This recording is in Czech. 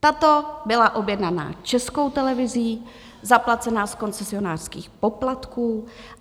Tato byla objednaná Českou televizí, zaplacena z koncesionářských poplatků.